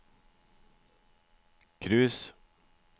cruise